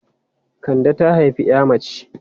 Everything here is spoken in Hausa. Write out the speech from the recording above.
Kande ta haifi 'ya mace.